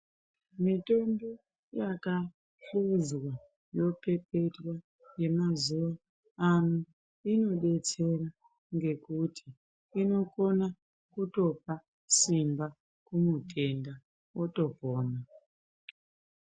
Mitombo yaka hluzwa yopepetwa yemazuwa ano inodetsera ngekuti inokona kutopa simba kumutenda otopona.